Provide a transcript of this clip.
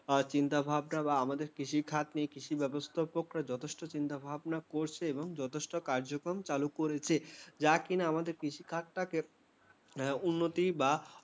চিন্তাভাবনা বা আমাদের কৃষিখাত বা কৃষিব্যবস্থা নিয়ে চিন্তাভাবনা নিয়ে করছে এবং যথেষ্ট কার্যক্রম চালু করেছে, যা কিনা আমাদের কৃষিখাতটাকে উন্নতি বা